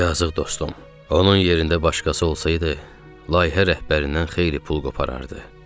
Yazıq dostum, onun yerində başqası olsaydı, layihə rəhbərindən xeyli pul qoparardı.